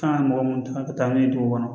Kan ka mɔgɔ munnu ta ka taa n'u ye dugu kɔnɔ